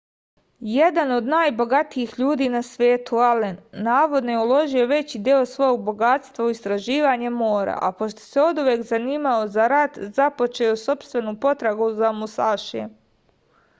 jedan od najbogatijih ljudi na svetu alen navodno je uložio veći deo svog bogatstva u istraživanje mora a pošto se oduvek zanimao za rat započeo je sopstvenu potragu za musašijem